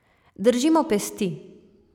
Držimo pesti.